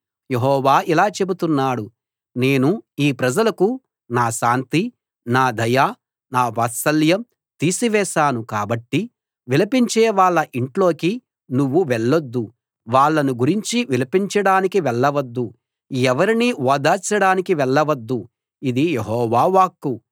యెహోవా ఇలా చెబుతున్నాడు నేను ఈ ప్రజలకు నా శాంతి నా దయ నా వాత్సల్యం తీసివేశాను కాబట్టి విలపించే వాళ్ళ ఇంట్లోకి నువ్వు వెళ్లొద్దు వాళ్ళను గురించి విలపించడానికి వెళ్ళవద్దు ఎవరినీ ఓదార్చడానికి వెళ్ళవద్దు ఇది యెహోవా వాక్కు